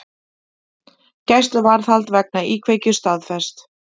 Gæsluvarðhald vegna íkveikju staðfest